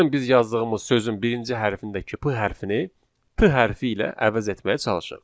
Gəlin biz yazdığımız sözün birinci hərfini dəki P hərfini T hərfi ilə əvəz etməyə çalışaq.